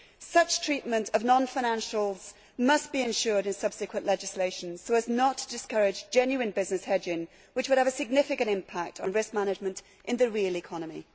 Such treatment of non financials must be ensured in subsequent legislation so as not to discourage genuine business hedging, which would have a significant impact on risk management in the real economy.